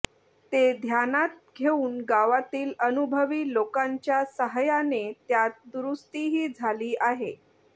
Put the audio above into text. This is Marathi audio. ते ध्यानात घेऊन गावातील अनुभवी लोकांच्या साहाय्याने त्यात दुरुस्तीही झाली आहे